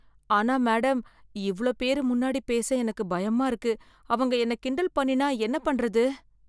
ஆனா மேடம், இவ்ளோ பேரு முன்னாடி பேச எனக்கு பயமா இருக்கு. அவங்க என்னை கிண்டல் பண்ணினா என்ன பண்றது?